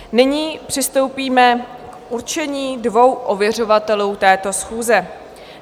Nyní přistoupíme k určení dvou ověřovatelů této schůze.